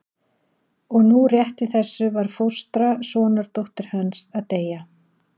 Og nú rétt í þessu var fóstra sonardóttur hans að deyja.